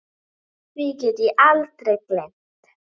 Því get ég aldrei gleymt.